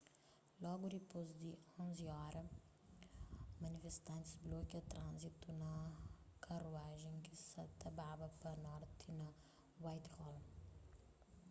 logu dipôs di 11:00 óra manifestantis blokia tránzitu na karuajen ki sa ta baba pa norti na whitehall